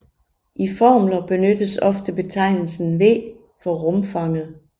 I formler benyttes ofte betegnelsen V for rumfanget